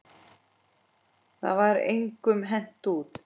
Það var engum hent út.